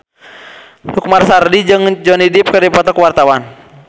Lukman Sardi jeung Johnny Depp keur dipoto ku wartawan